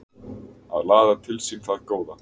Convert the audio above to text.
Að laða til sín það góða